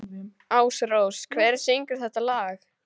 Ásrós, hver syngur þetta lag?